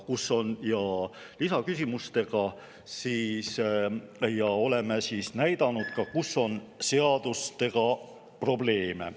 Oleme oma küsimustes näidanud ka, kus on seadustega probleeme.